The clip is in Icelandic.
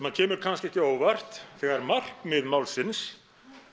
kemur kannski ekki á óvart þegar markmið málsins